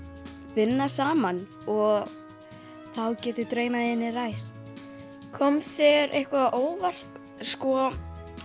vinna saman og þá geta draumar þínir ræst kom þér eitthvað á óvart sko